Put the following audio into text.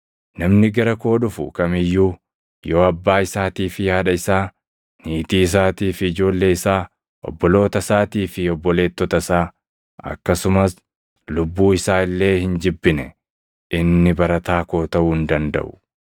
“Namni gara koo dhufu kam iyyuu yoo abbaa isaatii fi haadha isaa, niitii isaatii fi ijoollee isaa, obboloota isaatii fi obboleettota isaa akkasumas lubbuu isaa illee hin jibbine inni barataa koo taʼuu hin dandaʼu.